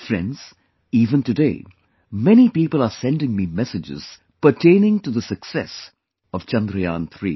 Friends, even today many people are sending me messages pertaining to the success of Chandrayaan3